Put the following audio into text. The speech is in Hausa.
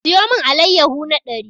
Siyo mun allayahu na ɗari!